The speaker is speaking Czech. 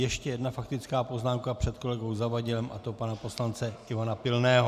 Ještě jedna faktická poznámka před kolegou Zavadilem, a to pana poslance Ivana Pilného.